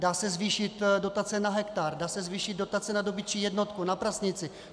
Dá se zvýšit dotace na hektar, dá se zvýšit dotace na dobytčí jednotku, na prasnici.